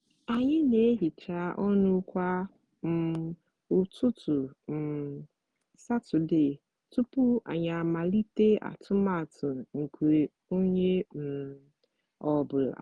anyị na-ehicha ọnụ kwa um ụtụtụ um satọde tupu anyị amalite atụmatụ nke onye um ọ bụla